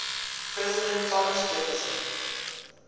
president thomas jefferson